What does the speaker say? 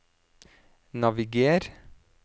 naviger